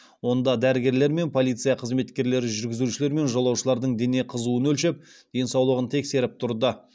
онда дәрігерлер мен полиция қызметкерлері жүргізушілер мен жолаушылардың дене қызуын өлшеп денсаулығын тексеріп тұрды